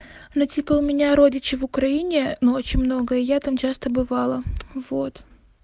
ну типа у меня родичи в украине но очень много и я там часто бывала вот